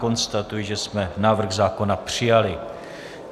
Konstatuji, že jsme návrh zákona přijali.